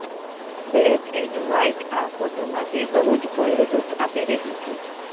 black and white આ ફોટોમાં તે બહુ જ બોલ્ડ લુક આપી રહી છે